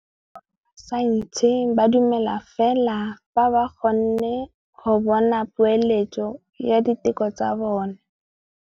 Borra saense ba dumela fela fa ba kgonne go bona poeletsô ya diteko tsa bone.